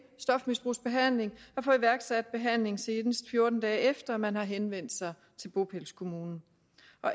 stofmisbrugsbehandling få iværksat behandling senest fjorten dage efter man har henvendt sig til bopælskommunen